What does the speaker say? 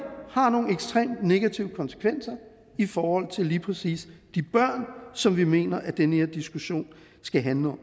har nogle ekstremt negative konsekvenser i forhold til lige præcis de børn som vi mener at den her diskussion skal handle om